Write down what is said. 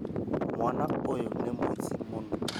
Mwana ũyũ nĩ mũici mũno